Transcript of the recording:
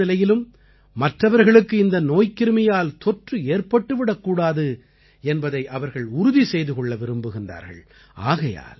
எந்த ஒரு சூழ்நிலையிலும் மற்றவர்களுக்கு இந்த நோய்க்கிருமியால் தொற்று ஏற்பட்டுவிடக்கூடாது என்பதை அவர்கள் உறுதி செய்து கொள்ள விரும்புகிறார்கள்